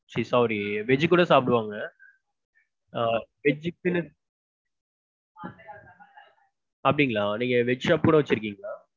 veg கூட சாப்டுவாங்க. ஆஹ் veg க்குனு அப்டிங்களா நீங்க veg shop கூட வச்சிருக்கீங்களா?